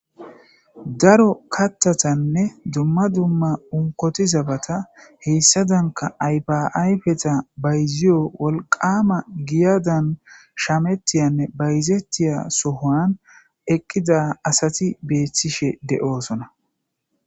Daro kaththatanne dumma dumma onkkotti zabata heyssadankka ayfa ayfata bayziyo wolqqamma giyadan shammetiyanne bayzetiya sohowan eqqida asati betishe de'ossona.